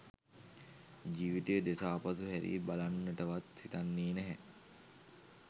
ජීවිතය දෙස ආපසු හැරී බලන්නටවත් සිතෙන්නේ නැත